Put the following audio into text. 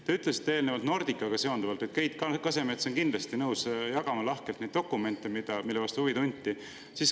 Te ütlesite eelnevalt Nordicaga seonduvalt, et Keit Kasemets on kindlasti nõus jagama lahkelt neid dokumente, mille vastu huvi tunti.